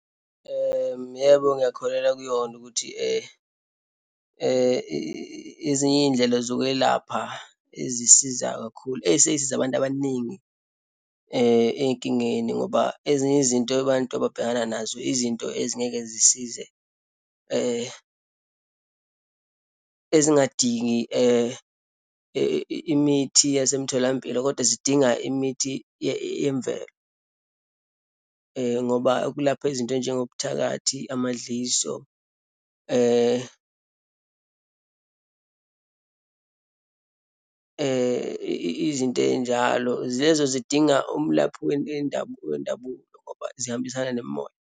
Yebo, ngiyakholelwa kuyona ukuthi ezinye iyindlela zokwelapha ezisiza kakhulu, eseyisize abantu abaningi eyinkingeni ngoba ezinye izinto abantu ababhekana nazo izinto ezingeke zisize ezingadingi imithi yasemtholampilo, kodwa zidinga imithi yemvelo ngoba ukulapha izinto eyinjengobuthakathi, amadliso . Izinto eyinjalo, lezo zidinga umlaphi wendabuko ngoba zihambisana nemimoya.